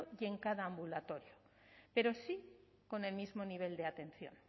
y en cada ambulatorio pero sí con el mismo nivel de atención